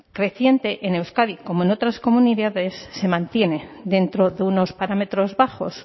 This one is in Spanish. creciente en euskadi como en otras comunidades se mantiene dentro de unos parámetros bajos